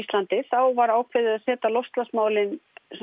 var ákveðið að setja loftslagsmálið